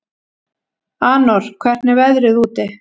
Anor, hvernig er veðrið úti?